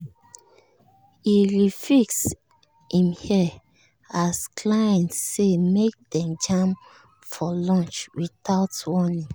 e re-fix him hair as client say make dem jam for lunch without warning.